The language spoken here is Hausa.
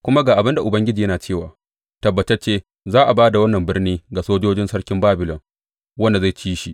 Kuma ga abin da Ubangiji yana cewa, Tabbatacce za a ba da wannan birni ga sojojin sarkin Babilon, wanda zai ci shi.’